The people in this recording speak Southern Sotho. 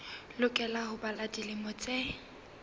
lokela ho ba dilemo tse